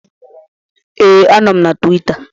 Ee, anọ m na Tuwita